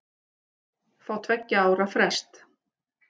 Fá tveggja ára frest